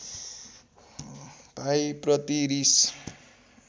भाइ प्रति रिस